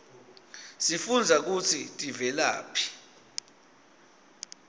sifundza kutsi tivelaphi